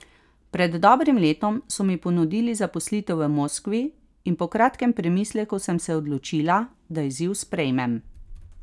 Pred dobrim letom so mi ponudili zaposlitev v Moskvi in po kratkem premisleku sem se odločila, da izziv sprejmem.